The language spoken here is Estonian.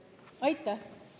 Aitäh!